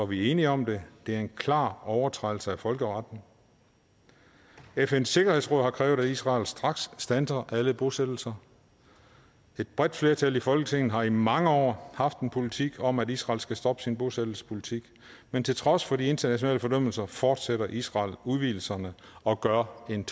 vi enige om det det er en klar overtrædelse af folkeretten fns sikkerhedsråd har krævet at israel straks standser alle bosættelser et bredt flertal i folketinget har i mange år haft en politik om at israel skal stoppe sin bosættelsespolitik men til trods for de internationale fordømmelser fortsætter israel udvidelserne og gør en